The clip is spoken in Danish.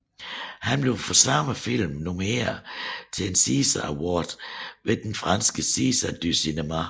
Han blev for samme film nomineret til en César Award ved franske César du cinéma